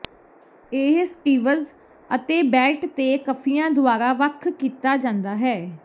ਇਹ ਸਟੀਵਜ਼ ਅਤੇ ਬੈਲਟ ਤੇ ਕਫ਼ੀਆਂ ਦੁਆਰਾ ਵੱਖ ਕੀਤਾ ਜਾਂਦਾ ਹੈ